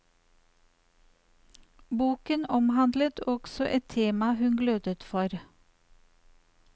Boken omhandlet også et tema hun glødet for.